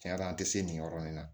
Tiɲɛ yɛrɛ la an tɛ se nin yɔrɔ in na